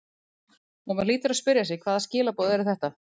Og maður hlýtur að spyrja sig hvaða skilaboð eru þetta?